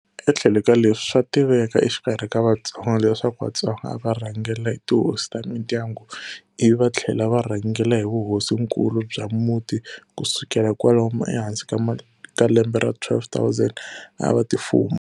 E tlhelo ka leswi, swa tiveka exikarhi ka Vatsonga leswaku Vatsonga a va rhangela hi tihosi ta mindyangu ivi va thlela va rhangela hi vuhosinkulu bya muti ku sukela kwalano e hansi ka lembe ra 1200 a va ti fuma.